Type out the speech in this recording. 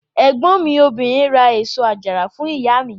Ẹ̀gbọ́n mi obìnrin ra èso àjàrà fún ìyá mi.